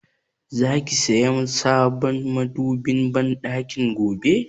Za ki saya sabon madobin banɗakin gobe?